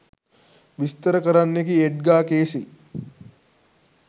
විස්තර කරන්නෙකි Edgar Cayce.